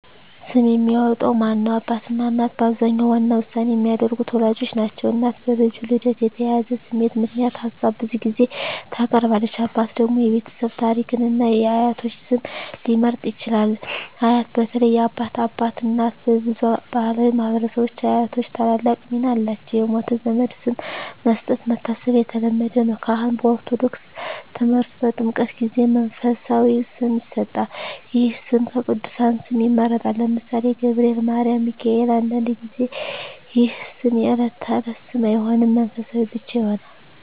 ስም የሚያወጣው ማን ነው? አባትና እናት በአብዛኛው ዋና ውሳኔ የሚያደርጉት ወላጆች ናቸው። እናት በልጁ ልደት የተያያዘ ስሜት ምክንያት ሀሳብ ብዙ ጊዜ ታቀርባለች። አባት ደግሞ የቤተሰብ ታሪክን እና የአያቶች ስም ሊመርጥ ይችላል። አያት (በተለይ የአባት አባት/እናት) በብዙ ባሕላዊ ማኅበረሰቦች አያቶች ታላቅ ሚና አላቸው። የሞተ ዘመድ ስም መስጠት (መታሰቢያ) የተለመደ ነው። ካህን (በኦርቶዶክስ ተምህርት) በጥምቀት ጊዜ መንፈሳዊ ስም ይሰጣል። ይህ ስም ከቅዱሳን ስም ይመረጣል (ለምሳሌ፦ ገብርኤል፣ ማርያም፣ ሚካኤል)። አንዳንድ ጊዜ ይህ ስም የዕለት ተዕለት ስም አይሆንም፣ መንፈሳዊ ብቻ ይሆናል።